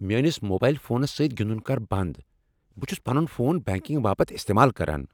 میٲنس موبائل فونس سۭتۍ گندُن كر بنٛد۔ بہٕ چھُس پنُن فون بینکنگ باپت استعمال کران۔